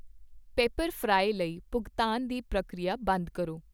ਪਿਪਰਫਰਾਈ ਲਈ ਭੁਗਤਾਨ ਦੀ ਪ੍ਰਕਿਰਿਆ ਬੰਦ ਕਰੋ।